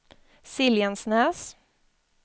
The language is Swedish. Siljansnäs